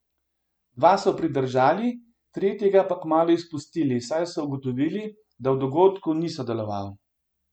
Dva so pridržali, tretjega pa kmalu izpustili, saj so ugotovili, da v dogodku ni sodeloval.